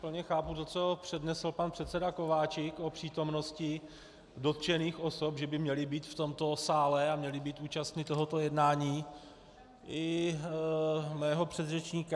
Plně chápu to, co přednesl pan předseda Kováčik o přítomnosti dotčených osob, že by měly být v tomto sále a měly být účastny tohoto jednání, i mého předřečníka.